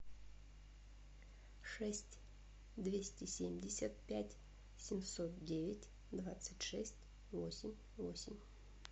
шесть двести семьдесят пять семьсот девять двадцать шесть восемь восемь